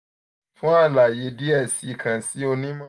fun alaye diẹ sii kan si onimọ